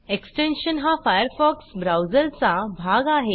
extension हा Firefox ब्राऊजरचा भाग आहे